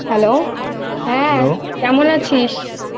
Hello হ্যাঁ Hello কেমন আছিস?